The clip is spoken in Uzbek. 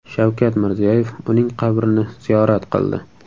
Shavkat Mirziyoyev uning qabrini ziyorat qildi .